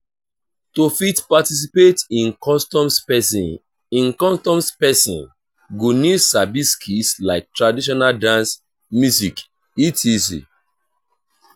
to fit participate in customs persin in customs persin go need sabi skills like traditional dance music etc